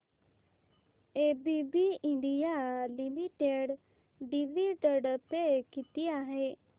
ABB India limited dividend pay किती आहे